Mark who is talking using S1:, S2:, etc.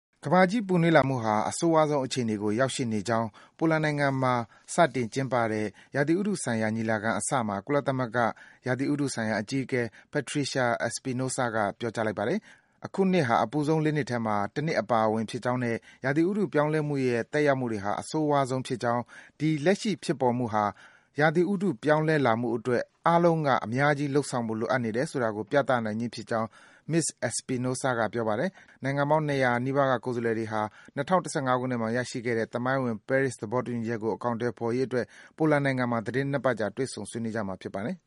S1: ကမ္ဘာကြီးပူနွေးလာမှုဟာ အဆိုးရွားဆုံးအခြေအနေကို ရောက်ရှိနေကြောင်း ပိုလန်နိုင်ငံမှာ စတင် ကျင်းပတဲ့ ရာသီဥတုဆိုင်ရာ ညီလာခံအစမှာ ကုလသမဂ္ဂ ရာသီဥတုဆိုင်ရာ အကြီးအကဲ Patricia Espinosa က ပြောကြားလိုက်ပါတယ်။ အခုနှစ်ဟာ အပူဆုံး ၄ နှစ်ထဲမှာ တနှစ်အပါအဝင်ဖြစ်ကြောင်းနဲ့ ရာသီဥတုပြောင်းလဲမှုရဲ့ သက်ရောက်မှုတွေဟာ အဆိုးရွားဆုံး ဖြစ်ကြောင်း၊ ဒီ လက်ရှိဖြစ်ပေါ်မှုဟာ ရာသီဥတုပြောင်းလဲလာမှုအတွက် အားလုံးက အများကြီး လုပ်ဆောင်ဖို့ လိုအပ်နေတယ်ဆိုကို ပြသနေခြင်း ဖြစ်ကြောင်း Ms. Espinosa က တနင်္ဂနွေနေ့မှာ ပြောပါတယ်။ နိုင်ငံပေါင်း ၂၀၀ နီးပါးက ကိုယ်စားလှယ်တွေဟာ ၂၀၁၅ ခုနှစ်မှာ ရရှိခဲ့တဲ့ သမိုင်းဝင် ပဲရစ် သဘောတူညီချက်ကို အကောင်အထည် ဖော်ရေး အတွက် ပိုလန်နိုင်ငံတောင်ပိုင်း Katowice မြို့မှာ သီတင်း ၂ ပတ်ကြာ တွေ့ဆုံ ဆွေးနွေးကြမှာ ဖြစ်ပါတယ်